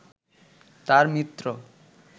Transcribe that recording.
তার মিত্র